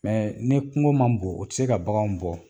ni kungo man bon o ti se ka baganw bɔ.